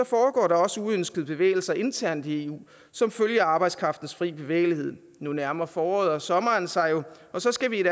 foregår der også uønskede bevægelser internt i eu som følge af arbejdskraftens frie bevægelighed nu nærmer foråret og sommeren sig jo og så skal vi i